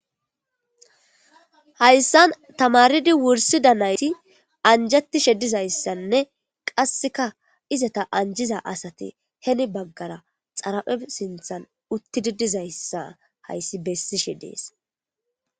Hayssan tamaridi wursi danayti anjatishe dizayssanne qasseka izata anjiza asati heni baggara xarape sinthan uttidi dizayssa hayssi bessishe dees.